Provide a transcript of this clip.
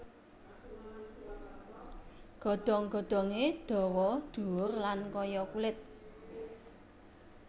Godhong godhongé dawa dhuwur lan kaya kulit